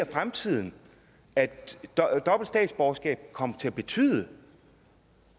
fremtiden at dobbelt statsborgerskab kommer til at betyde